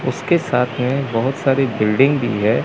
उसके साथ में बहोत सारी बिल्डिंग भी है।